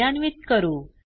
कार्यान्वित करू